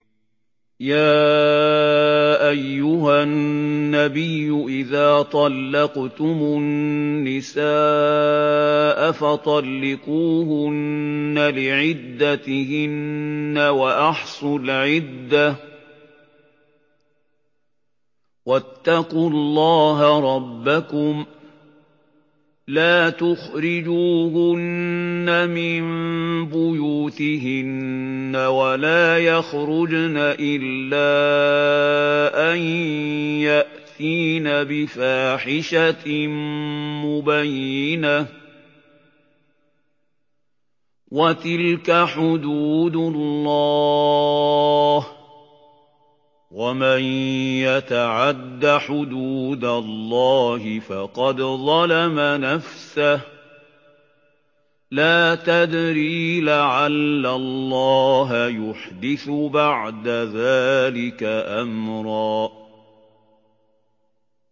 يَا أَيُّهَا النَّبِيُّ إِذَا طَلَّقْتُمُ النِّسَاءَ فَطَلِّقُوهُنَّ لِعِدَّتِهِنَّ وَأَحْصُوا الْعِدَّةَ ۖ وَاتَّقُوا اللَّهَ رَبَّكُمْ ۖ لَا تُخْرِجُوهُنَّ مِن بُيُوتِهِنَّ وَلَا يَخْرُجْنَ إِلَّا أَن يَأْتِينَ بِفَاحِشَةٍ مُّبَيِّنَةٍ ۚ وَتِلْكَ حُدُودُ اللَّهِ ۚ وَمَن يَتَعَدَّ حُدُودَ اللَّهِ فَقَدْ ظَلَمَ نَفْسَهُ ۚ لَا تَدْرِي لَعَلَّ اللَّهَ يُحْدِثُ بَعْدَ ذَٰلِكَ أَمْرًا